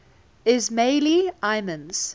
ismaili imams